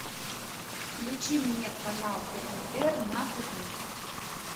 включи мне канал отр на тв